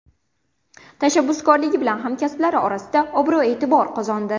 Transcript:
Tashabbuskorligi bilan hamkasblari orasida obro‘-e’tibor qozondi.